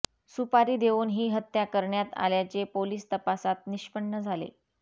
सुपारी देऊन ही हत्या करण्यात आल्याचे पोलीस तपासात निष्पन्न झाले